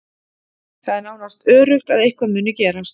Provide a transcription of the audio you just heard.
Það er nánast öruggt að eitthvað muni gerast.